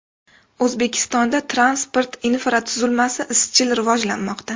O‘zbekistonda transport infratuzilmasi izchil rivojlanmoqda.